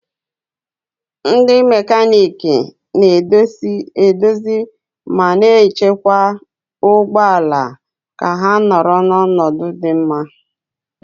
Ndị mekaniiki na-edozi ma na-echekwa ụgbọ ala ka ha nọrọ n'ọnọdụ dị mma